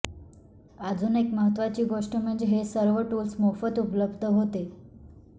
अजून एक महत्त्वाची गोष्ट म्हणजे हे सर्व टूल्स मोफत उपलब्ध होते